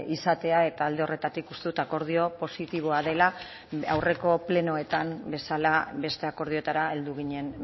izatea eta alde horretatik uste dut akordio positiboa dela aurreko plenoetan bezala beste akordioetara heldu ginen